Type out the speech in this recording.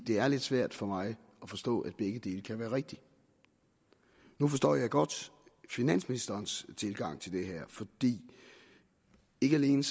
det er lidt svært for mig at forstå at begge dele kan være rigtigt nu forstår jeg godt finansministerens tilgang til det her for ikke alene